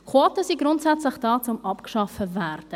Quoten sind grundsätzlich da, um abgeschafft zu werden.